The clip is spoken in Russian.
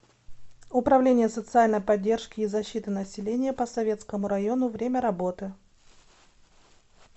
управление социальной поддержки и защиты населения по советскому району время работы